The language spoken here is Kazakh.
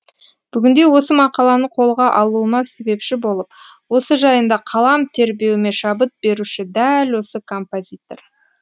бүгінде осы мақаланы қолға алуыма себепші болып осы жайында қалам тербеуіме шабыт беруші дәл осы композитор